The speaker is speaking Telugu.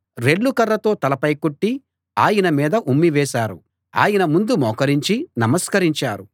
రెల్లు కర్రతో తలపై కొట్టి ఆయన మీద ఉమ్మి వేశారు ఆయన ముందు మోకరించి నమస్కరించారు